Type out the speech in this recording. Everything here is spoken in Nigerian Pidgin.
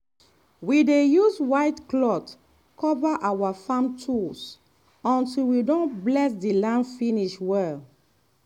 we dey use white cloth cover our farm tools until we don bless the land finish well.